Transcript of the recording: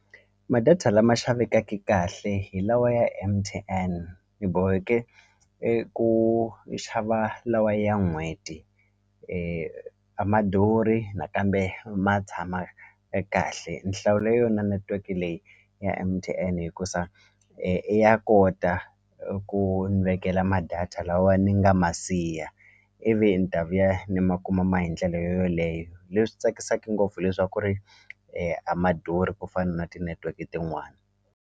Ma-data lama xavekaka kahle hi lawa ya M_T_N boheke eku xava lawa ya n'hweti a ma durhi nakambe ma tshama e kahle ni hlawule yona netiweke leyi ya M_T_N hikusa ya kota ku ni vekela ma-data lawa ni nga ma siya ivi ni ta vuya ni ma kuma ma hi ndlela yo yoleyo leswi tsakisaku ngopfu hileswaku ri a ma durhi ku fana na tinetiweki tin'wani.